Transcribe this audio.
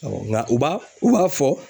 Nka u b'a u b'a fɔ